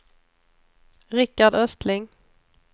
Rickard Östling